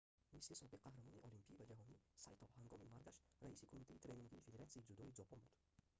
мисли собиқ қаҳрамони олимпӣ ва ҷаҳонӣ сайто ҳангоми маргаш раиси кумитаи тренингии федератсияи дзюдои ҷопон буд